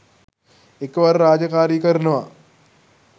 එකවර රාජකාරි කරනවා.